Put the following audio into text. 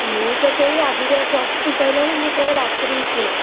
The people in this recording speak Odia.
ମୁଁ ତ ସେଇ ଆଜିଯାଏ plus three ସରିଲାଣି ମୁଁ କେବେ ରାତିରୁ ଉଠିନାହିଁ।